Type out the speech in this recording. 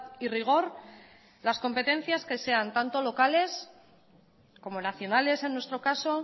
y rigor las competencias que sean tanto locales como nacionales en nuestro caso